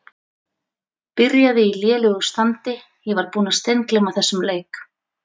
Byrjaði í lélegu standi Ég var búinn að steingleyma þessum leik.